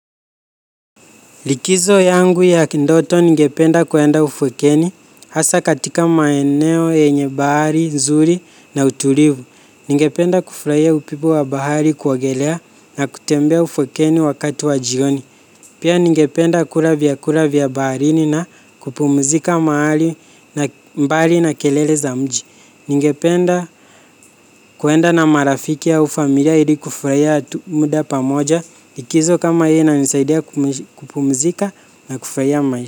Likizo yangu ya kindoto ningependa kuenda ufukeni hasa katika maeneo, yenye bahari, nzuri na utulivu. Ningependa kufuraia upipo wa bahari kuogelea na kutembea ufukweni wakati wa jioni. Pia ningependa kura vyakura vyabarini na kupumzika mbali na kelele za mji. Ningependa kuenda na marafiki au familia ili kufuraia muda pamoja. Ikizo kama hiyo inanisaidia kupumzika na kufraia ma.